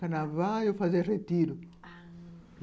Carnaval, eu fazia retiro. Ah...